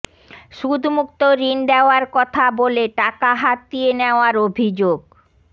সুদমুক্ত ঋণ দেওয়ার কথা বলে টাকা হাতিয়ে নেওয়ার অভিযোগ